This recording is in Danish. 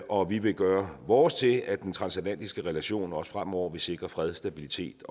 og vi vil gøre vores til at den transatlantiske relation også fremover vil sikre fred stabilitet